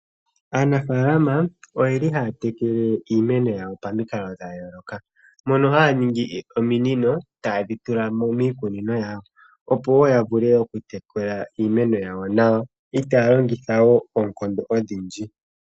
Aanafaalama oye li haya tekele iimeno yawo pamikalo dha yooloka. Mono haya ningi ominino taye dhi tula mo miikunino yawo , opo wo ya vule oku tekula iimeno yawo nawa itaa ya longitha oonkondo odhindji.